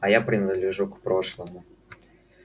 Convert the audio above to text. а я принадлежу к прошлому